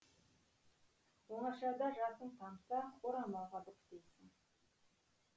оңашада жасың тамса орамалға бүктейсің